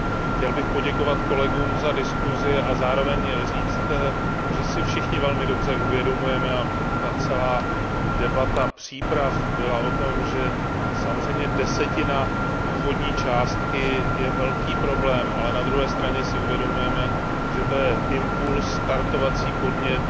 Chtěl bych poděkovat kolegům za diskusi a zároveň říct, že si všichni velmi dobře uvědomujeme a celá debata ohledně příprav byla o tom že samozřejmě desetina původní částky je velký problém, ale na druhé straně si uvědomujeme, že to je impuls, startovací podnět,